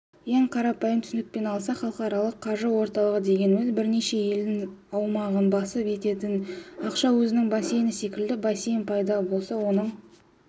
ең қарапайым түсінікпен алсақ халықаралық қаржы орталығы дегеніміз бірнеше елдің аумағын басып өтетін ақша өзенінің бассейні секілді бассейн пайда болса оның